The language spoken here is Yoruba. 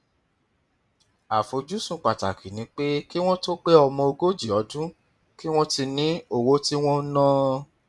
àfojúsùn pàtàkì ni pé kí wọn tó pe ọmọ ogójì ọdún kí wọn ti ní owó tí wọn ń ná